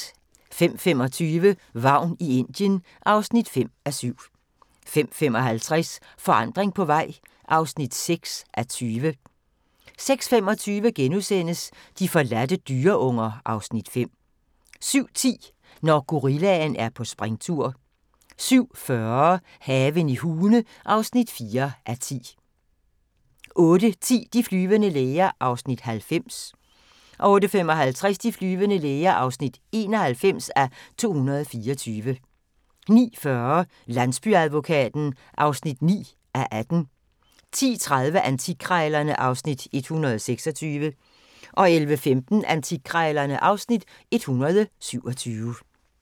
05:25: Vagn i Indien (5:7) 05:55: Forandring på vej (6:20) 06:25: De forladte dyreunger (Afs. 5)* 07:10: Når gorillaen er på springtur 07:40: Haven i Hune (4:10) 08:10: De flyvende læger (90:224) 08:55: De flyvende læger (91:224) 09:40: Landsbyadvokaten (9:18) 10:30: Antikkrejlerne (Afs. 126) 11:15: Antikkrejlerne (Afs. 127)